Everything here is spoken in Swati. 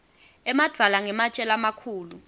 emadvwala ngematje lamakhulu